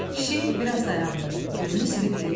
Kişi biraz dayandı, gözünü silib dedi: